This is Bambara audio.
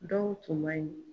Dɔw tun man ɲin